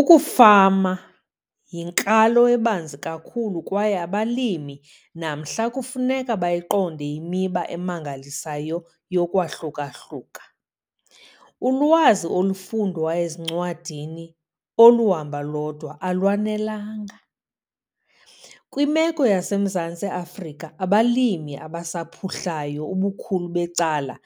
Ukufama yinkalo ebanzi kakhulu kwaye abalimi namhla kufuneka bayiqonde imiba emangalisayo yokwahluka-hluka. Ulwazi olufundwa ezincwadini oluhamba lodwa alwanelanga. Kwimeko yaseMzantsi Afrika, abalimi abasaphuhlayo ubukhulu becala